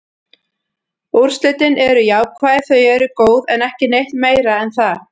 Úrslitin eru jákvæð, þau eru góð, en ekki neitt meira en það.